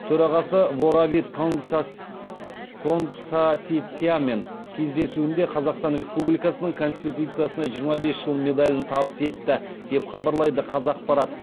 төрағасы воравит кангсаситиаммен кездесуінде қазақстан республикасының конституциясына жиырма бес жыл медалін табыс етті деп хабарлайды қазақпарат